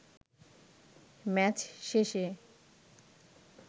match শেষে